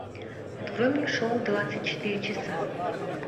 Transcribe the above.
открой мне шоу двадцать четыре часа